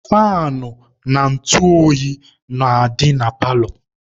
Faanụ na ntụ oyi na-adị na paalọ.